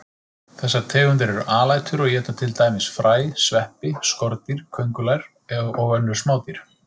Þessar tegundir eru alætur og éta til dæmis fræ, sveppi, skordýr, kóngulær og önnur smádýr.